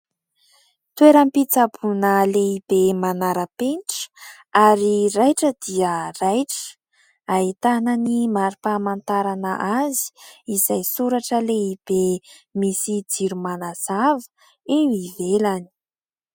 Toeram-pitsaboina lehibe manara-penitra ary raitra dia raitra, ahitana ny marim-pamantarana azy izay soratra lehibe, misy jiro manazava eo ivelany.